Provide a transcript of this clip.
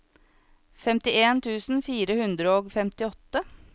femtien tusen fire hundre og femtiåtte